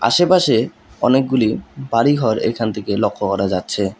আশেপাশে অনেকগুলি বাড়িঘর এখান থেকে লক্ষ্য করা যাচ্ছে।